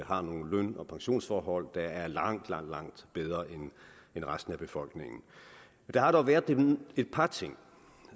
har nogle løn og pensionsforhold der er langt langt langt bedre end resten af befolkningens der har dog været et par ting